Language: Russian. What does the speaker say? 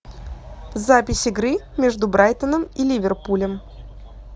запись игры между брайтоном и ливерпулем